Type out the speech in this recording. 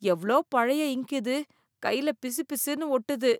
எவ்ளோ பழைய இங்க்கு இது! கையில பிசுபிசுன்னு ஒட்டுது!